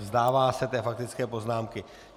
Vzdává se té faktické poznámky.